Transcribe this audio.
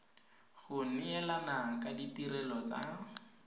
go neelana ka ditirelo tsa